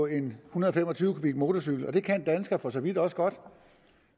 en hundrede og fem og tyve kubikmotorcykel og det kan danskere for så vidt også godt